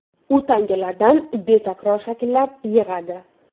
U tangalardan betakror shakllar yig‘adi.